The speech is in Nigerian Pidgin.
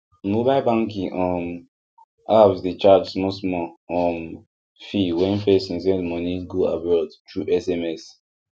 mobile banking um apps dey charge small small um fee when person send money go abroad through sms